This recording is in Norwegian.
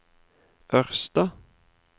Ørsta